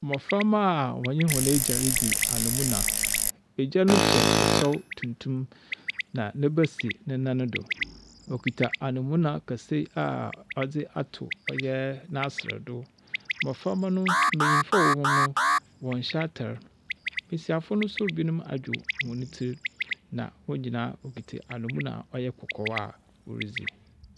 Mboframba a wɔnye hɔn egya ridzi anamuna, egya no hyɛ kyɛw tuntum na ne ba si ne nan do. Okitsa anamuna kɛse a ɔdze ato ɔyɛ n’aserɛ do. Mboframba no, mbanyin a wɔwɔ no, wɔnnhyɛ atar; mbasiafo no so binom adwer hɔn tsir, na hɔn nyinaa wokitsa a ɔyɛ kɔkɔɔ a woridzi.